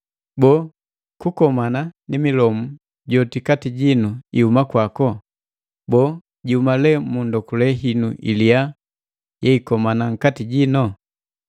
Boo, kukomana ni milomu joti kati jinu ihuma kwako? Boo, jihuma lee mu ndokule hinu iliya yeikomana nkati jino?